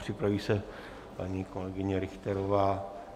Připraví se paní kolegyně Richterová.